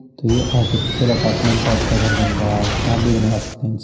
तो ये artificial apartment type का घर बन रहा है आप भी बनावा सकते हैं इनसे।